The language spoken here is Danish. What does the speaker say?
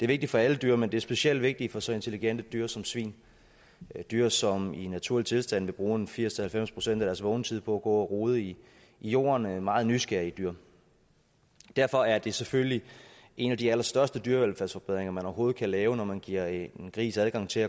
vigtigt for alle dyr men det er specielt vigtigt for så intelligente dyr som svin dyr som i naturlig tilstand vil bruge firs til halvfems procent af deres vågne tid på at gå og rode i jorden er meget nysgerrige dyr derfor er det selvfølgelig en af de allerstørste dyrevelfærdsforbedringer man overhovedet kan lave når man giver en gris adgang til